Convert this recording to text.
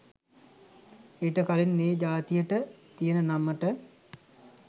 ඊට කලින් ඒ ජාතියට තියෙන නමට